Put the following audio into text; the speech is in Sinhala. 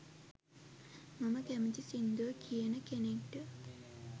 මම කැමැති සිංදු කියන කෙනෙක්ට.